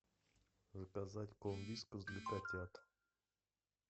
заказать корм вискас для котят